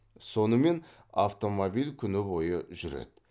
сонымен автомобиль күні бойы жүреді